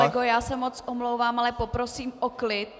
Pane kolego, já se moc omlouvám, ale poprosím o klid!